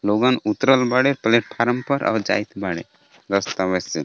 लोगन उतरल बाड़े प्लेटफारम पर और जाईत बाड़े रस्तवे से।